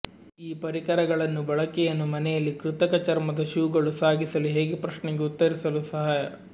ಈ ಪರಿಕರಗಳನ್ನು ಬಳಕೆಯನ್ನು ಮನೆಯಲ್ಲಿ ಕೃತಕ ಚರ್ಮದ ಶೂಗಳು ಸಾಗಿಸಲು ಹೇಗೆ ಪ್ರಶ್ನೆಗೆ ಉತ್ತರಿಸಲು ಸಹಾಯ